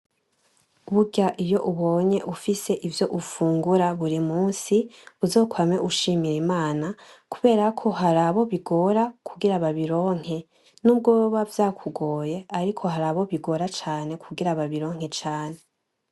Burya iyo ubonye ufise ivyo ufungura buri munsi uzokwame ushimira Imana, kubera ko hari aho bigora kugira babironke. N'ubwo woba vyakugoye, ariko hari abo bigora cane kugira babironke cane.